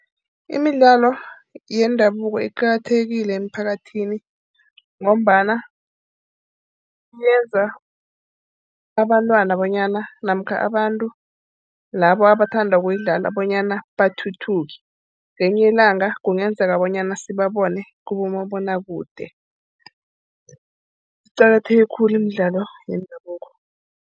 Imidlalo yendabuko iqakathekile emiphakathini ngombana yenza abantwana bonyana namkha abantu labo abathanda ukuyidlala bonyana bathuthuke. Ngelinye ilanga kungenzeka bonyana sibone kubomabonwakude. Iqakatheke khulu imidlalo yendabuko.